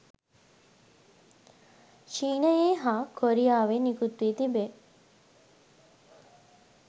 චීනයේ හා කොරියාවේ නිකුත් වී තිබේ.